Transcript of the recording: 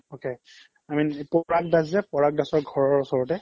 okay, i mean এইটো পৰাগ দাসৰ যে পৰাগ দাসৰ ঘৰৰ ওচৰতে